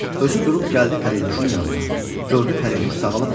Özü durub gəldi pərinüşün yanına, gördü pərinur sağalıbdır.